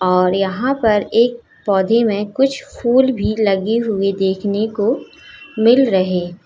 और यहां पर एक पौधे में कुछ फूल भी लगी हुई देखने को मिल रहे--